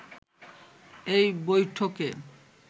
এই বৈঠকে